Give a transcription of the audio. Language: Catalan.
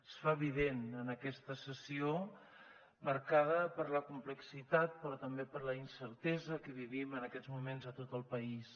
es fa evident en aquesta sessió marcada per la complexitat però també per la incertesa que vivim en aquests moments a tot el país